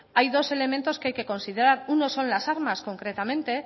hay dos elementos que hay que considerar uno son las armas concretamente